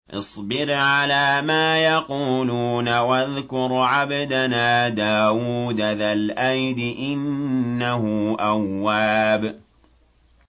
اصْبِرْ عَلَىٰ مَا يَقُولُونَ وَاذْكُرْ عَبْدَنَا دَاوُودَ ذَا الْأَيْدِ ۖ إِنَّهُ أَوَّابٌ